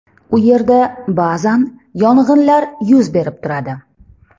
U yerda ba’zan yong‘inlar yuz berib turadi.